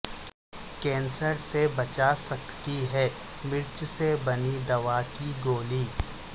cancer سے بچا سکتی ہے مرچ سے بنی دوا کی گولی